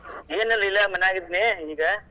ಏನಿಲ್ಲ ಇಲ್ಲೇ ಮನ್ಯಾಗ್ ಇದ್ನಿ ಈಗ.